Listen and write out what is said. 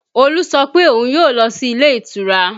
Olu sọ pé òun yóò lọ sí ilé ìtura